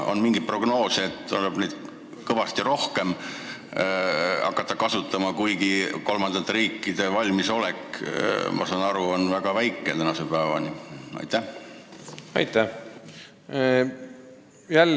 Kas on mingeid prognoose, mille järgi tuleb hakata neid dokumente kõvasti rohkem kasutama, kuigi kolmandate riikide valmisolek, nagu ma aru saan, on tänase päevani väga väike?